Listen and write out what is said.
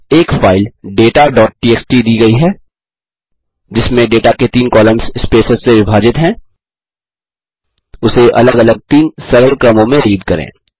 एक फाइल dataटीएक्सटी दी गयी है जिसमें डेटा के तीन कॉलम्स स्पेसेस से विभाजित हैं उसे अलग अलग 3 सरल क्रमों में रीड करें